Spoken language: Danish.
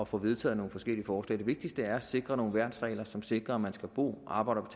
få vedtaget nogle forskellige forslag det vigtigste er at sikre nogle værnsregler som sikrer at man skal bo arbejde og